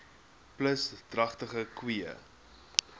plus dragtige koeie